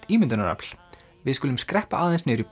ímyndunarafl við skulum skreppa aðeins niður í